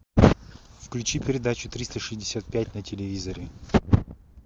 включи передачу триста шестьдесят пять на телевизоре